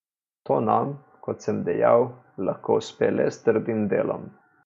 To nam, kot sem dejal, lahko uspe le s trdim delom.